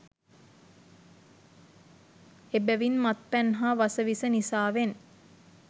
එබැවින් මත් පැන් හා වස විස නිසාවෙන්